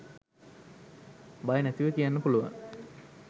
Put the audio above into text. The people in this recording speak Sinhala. බය නැතිව කියන්න පුළුවන්.